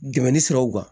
Dɛmɛ ni siraw kan